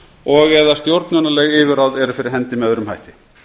og eða stjórnunarleg yfirráð eru fyrir hendi með öðrum hætti